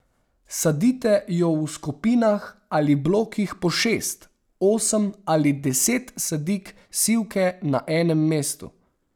Sadite jo v skupinah ali blokih po šest, osem ali deset sadik sivke na enem mestu.